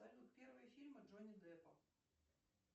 салют первые фильмы джонни деппа